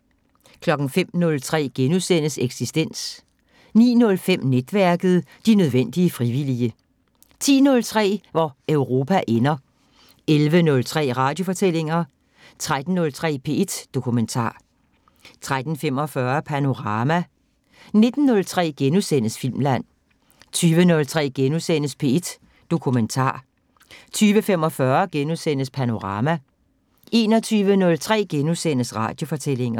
05:03: Eksistens * 09:05: Netværket: De nødvendige frivillige 10:03: Hvor Europa ender 11:03: Radiofortællinger 13:03: P1 Dokumentar 13:45: Panorama 19:03: Filmland * 20:03: P1 Dokumentar * 20:45: Panorama * 21:03: Radiofortællinger *